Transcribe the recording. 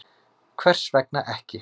Hvers vegna ekki?